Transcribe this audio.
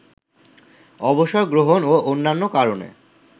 অবসর গ্রহণ ও অন্যান্য কারণে